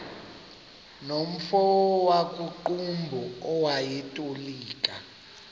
nomfo wakuqumbu owayetolika